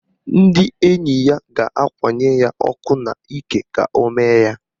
Ndị enyi ya ga-akwanye ya ọkụ n'ike ka o mee ya.